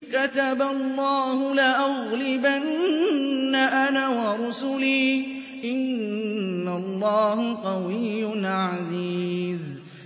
كَتَبَ اللَّهُ لَأَغْلِبَنَّ أَنَا وَرُسُلِي ۚ إِنَّ اللَّهَ قَوِيٌّ عَزِيزٌ